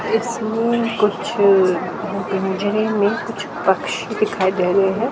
इसमें कुछ पिंजरे में कुछ पछी दिखाई दे रहे हैं।